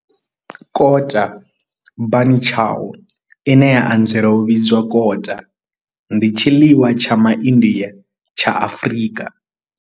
Kota bunny chow, ine ya anzela u vhidzwa kota, ndi tshiḽiwa tsha MaIndia tsha Afrika.